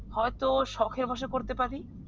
হয়তো সখের ভাষায় করতে পারি।